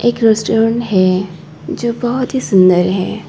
एक रेस्टोरेंट है जो बहुत ही सुंदर है।